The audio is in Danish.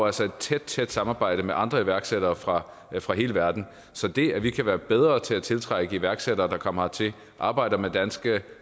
altså et tæt tæt samarbejde med andre iværksættere fra fra hele verden så det at vi kan være bedre til at tiltrække iværksættere der kommer hertil arbejder med danske